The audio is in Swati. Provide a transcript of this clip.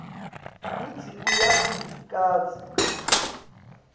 kutsi uyati kantsi